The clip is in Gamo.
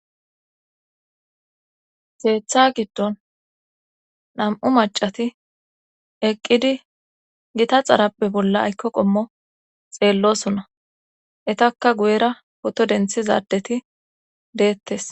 Seetha giddon nam'u macati eqqidi gita xarappe bolla aykko qommo xeellosonna etakka guyera poto denthizadeti deettes.